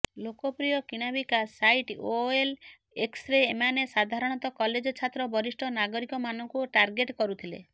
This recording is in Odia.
ଲୋକପ୍ରିୟ କିଣାବିକା ସାଇଟ୍ ଓଏଲ୍ଏକ୍ସ୍ରେ ଏମାନେ ସାଧାରଣତଃ କଲେଜ ଛାତ୍ର ବରିଷ୍ଠ ନାଗରିକମାନଙ୍କୁ ଟାର୍ଗେଟ କରୁଥିଲେ